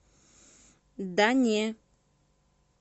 да не